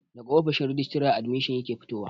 Daga ofishin rajistara admishin yake fitowa